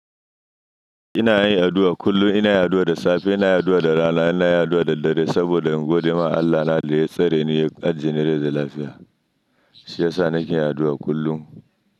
Ina yin addu'a kullum. Ina addu'a da safe, ina addu'a da rana, ina addu'a da dare saboda in godema Allah na da ya tsare ni ya ajje ni rai dai da lafiya. Shiyasa nake addu'a kullum.